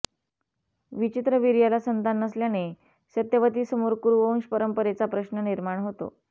विचित्रवीर्याला संतान नसल्याने सत्यवतीसमोर कुरुवंश परंपरेचा प्रश्न निर्माण होतो